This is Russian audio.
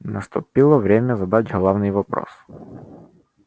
наступило время задать главный вопрос